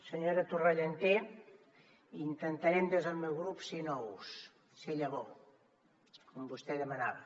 senyora torrentallé intentarem des del meu grup ser nous ser llavor com vostè demanava